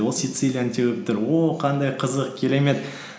ол сицилияны теуіп тұр о қандай қызық керемет